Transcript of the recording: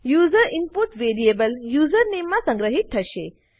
user input variable username માં સંગ્રહિત થશે